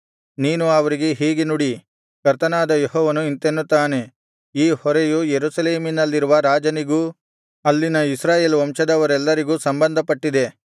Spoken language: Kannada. ನೀನು ಅವರಿಗೆ ಹೀಗೆ ನುಡಿ ಕರ್ತನಾದ ಯೆಹೋವನು ಇಂತೆನ್ನುತ್ತಾನೆ ಈ ಹೊರೆಯು ಯೆರೂಸಲೇಮಿನಲ್ಲಿರುವ ರಾಜನಿಗೂ ಅಲ್ಲಿನ ಇಸ್ರಾಯೇಲ್ ವಂಶದವರೆಲ್ಲರಿಗೂ ಸಂಬಂಧಪಟ್ಟಿದೆ